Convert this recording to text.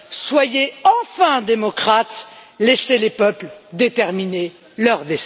Soyez enfin démocrate, laissez les peuples déterminer leur